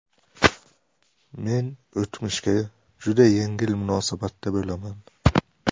Men o‘tmishga juda yengil munosabatda bo‘laman.